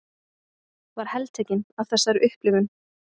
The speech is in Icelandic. Var heltekin af þessari upplifun.